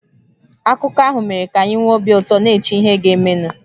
Akụkọ ahụ mere ka anyị nwee obi ụtọ, na-eche ihe ga-emenụ.